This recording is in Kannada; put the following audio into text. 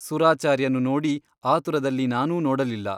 ಸುರಾಚಾರ್ಯನು ನೋಡಿ ಆತುರದಲ್ಲಿ ನಾನೂ ನೋಡಲಿಲ್ಲ.